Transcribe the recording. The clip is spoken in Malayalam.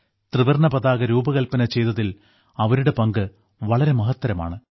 ത്രിവർണ്ണ പതാക രൂപകൽപ്പന ചെയ്തതിൽ അവരുടെ പങ്ക് വളരെ മഹത്തരമാണ്